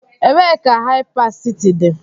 Ebee ka Hypercity dị?